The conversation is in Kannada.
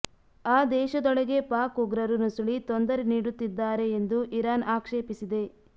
ಆ ದೇಶದೊಳಗೆ ಪಾಕ್ ಉಗ್ರರು ನುಸುಳಿ ತೊಂದರೆ ನೀಡುತ್ತಿದ್ದಾರೆ ಎಂದು ಇರಾನ್ ಆಕ್ಷೇಪಿಸಿದೆ